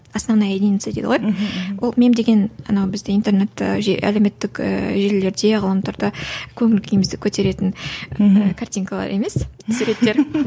основная единица дейді ғой мхм ол мем деген анау бізде интернетте әлеуметтік желілерде ғаламторда көңіл күйімізді көтеретін мхм картинкалар емес суреттер